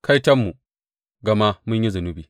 Kaiton mu gama mun yi zunubi!